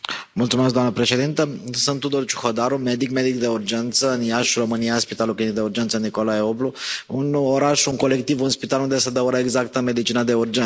Doamnă președintă, sunt Tudor Ciuhodaru, medic, medic de urgență în Iași, România, Spitalul Clinic de Urgență Nicolae Oblu, un oraș, un colectiv, un spital unde se dă ora exactă în medicina de urgență.